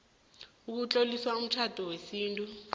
ukutlolisa umtjhado wesintu